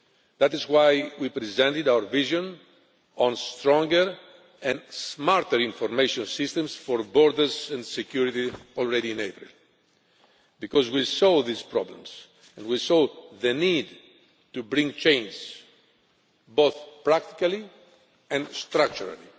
That is why we presented our vision on Stronger and Smarter Information Systems for Borders and Security already in April, because we saw these problems and we saw the need to bring change, both practically and structurally.